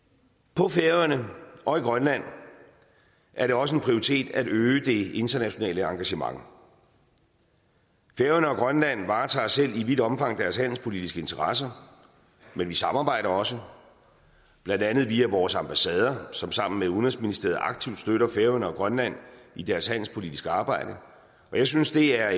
på færøerne og i grønland er det også en prioritet at øge det internationale engagement færøerne og grønland varetager selv i vidt omfang deres handelspolitiske interesser men vi samarbejder også blandt andet via vores ambassader som sammen med udenrigsministeriet aktivt støtter færøerne og grønland i deres handelspolitiske arbejde og jeg synes det er